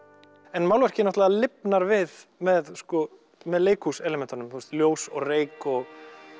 en málverkið náttúrulega lifnar við með leikhúselementunum með ljós og reyk og